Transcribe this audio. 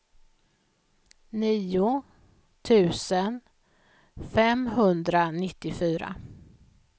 nio tusen femhundranittiofyra